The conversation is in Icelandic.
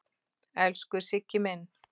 Elsku Siggi minn.